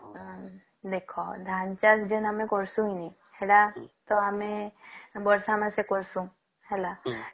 ଉଁ ଦେଖ ଧାନ ଚାଷ ମାନେ କରୁଛନ୍ତି ସେଟା ତ ଆମେ ବର୍ଷ ମାସେ କରୁସନ ହେଲା